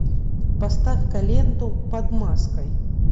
поставь ка ленту под маской